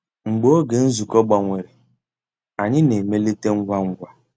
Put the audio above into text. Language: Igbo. Mgbeé ògé nzukọ́ gbànwèrè, ànyị́ ná-èmélìté ngwá ngwá.